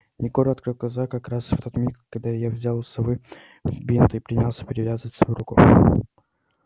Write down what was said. егор открыл глаза как раз в тот миг когда я взял у совы бинт и принялся перевязывать свою руку